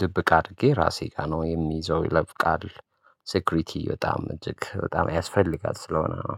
ድብቅ አድርጌ ራሴ ጋር ነው የሚይዘው። ይለፍ ቃል። ሴኩሪቲ በጣም እጅግ በጣም ያስፈልጋል ስለሆነ ነው